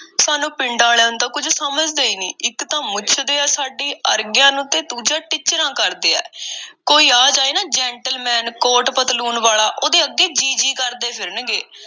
ਸਾਨੂੰ ਪਿੰਡਾਂ ਆਲਿਆਂ ਨੂੰ ਤਾਂ ਕੁੱਝ ਸਮਝਦੇ ਈ ਨਹੀਂ, ਇੱਕ ਤਾਂ ਮੁੱਛਦੇ ਐ ਸਾਡੇ ਅਰਗਿਆਂ ਨੂੰ, ਦੂਜਾ ਟਿੱਚਰਾਂ ਕਰਦੇ ਆ। ਕੋਈ ਆ ਜਾਏ ਨਾ gentleman, ਕੋਟ- ਪਤਲੂਨ ਵਾਲਾ ਉਹਦੇ ਅੱਗੇ ਜੀ-ਜੀ ਕਰਦੇ ਫਿਰਨਗੇ।